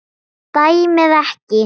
Dæmið ekki.